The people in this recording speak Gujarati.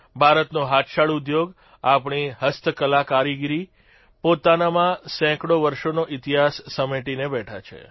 ભારતનો હાથશાળ ઉદ્યોગ આપણી હસ્તકલાકારીગરી પોતાનામાં સેંકડો વર્ષોનો ઇતિહાસ સમેટીને બેઠા છે